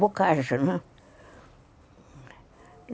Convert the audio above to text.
Bocaja, não né?